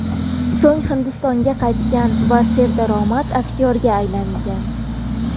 So‘ng Hindistonga qaytgan va serdaromad aktyorga aylangan.